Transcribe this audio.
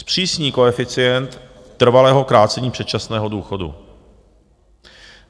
Zpřísní koeficient trvalého krácení předčasného důchodu.